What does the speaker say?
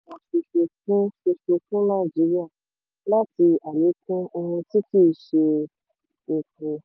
ó ṣàlàyé ìlànà kan ṣoṣo fún ṣoṣo fún nàìjíríà láti àlékún ohun tí kì í ṣe epo.